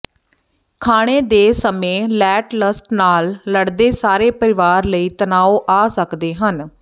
ਖਾਣੇ ਦੇ ਸਮੇਂ ਲੈਟਲਸਟ ਨਾਲ ਲੜਦੇ ਸਾਰੇ ਪਰਿਵਾਰ ਲਈ ਤਨਾਉ ਆ ਸਕਦੇ ਹਨ